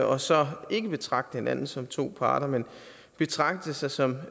og så ikke betragte hinanden som to parter men betragte sig som